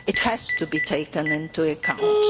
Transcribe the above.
It has to be taken into account.